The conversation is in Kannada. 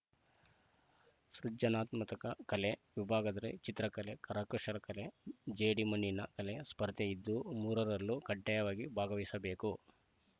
ಸೃಜನಾತ್ಮಕ ಕಲೆ ವಿಭಾಗದಲ್ಲಿ ಚಿತ್ರಕಲೆ ಕರಕುಶಲತೆ ಜೇಡಿ ಮಣ್ಣಿನ ಕಲೆ ಸ್ಪರ್ಧೆ ಇದ್ದು ಮೂರರಲ್ಲೂ ಕಡ್ಡಾಯವಾಗಿ ಭಾಗವಹಿಸಬೇಕು